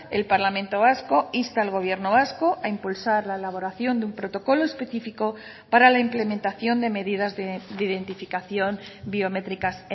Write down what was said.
el parlamento vasco insta al gobierno vasco a impulsar la elaboración de un protocolo específico para la implementación de medidas de identificación biométricas